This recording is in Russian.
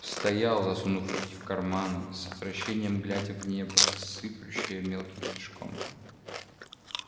стоял засунув руки в карманы с отвращением глядя в небо сыплющее мелким снежком